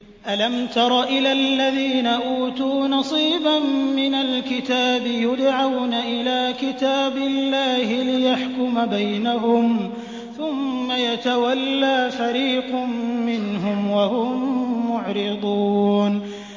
أَلَمْ تَرَ إِلَى الَّذِينَ أُوتُوا نَصِيبًا مِّنَ الْكِتَابِ يُدْعَوْنَ إِلَىٰ كِتَابِ اللَّهِ لِيَحْكُمَ بَيْنَهُمْ ثُمَّ يَتَوَلَّىٰ فَرِيقٌ مِّنْهُمْ وَهُم مُّعْرِضُونَ